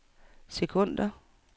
sekunder